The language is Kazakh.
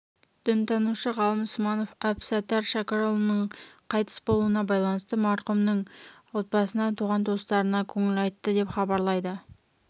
дінтанушы ғалым сманов әбсаттар шәкірұлының қайтыс болуына байланысты марқұмның отбасына туған-туыстарына көңіл айтты деп хабарлайды